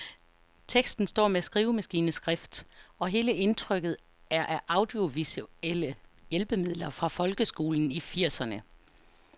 Teksten står med skrivemaskineskrift, og hele indtrykket er af audiovisuelle hjælpemidler fra folkeskolen i firserne.